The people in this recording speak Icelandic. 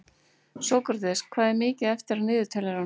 Sókrates, hvað er mikið eftir af niðurteljaranum?